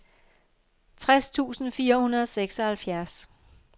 tres tusind fire hundrede og seksoghalvfjerds